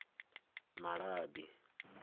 malabi